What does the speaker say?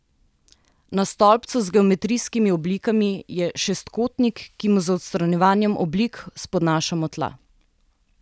Na stolpcu z geometrijskimi oblikami je šestkotnik, ki mu z odstranjevanjem oblik spodnašamo tla.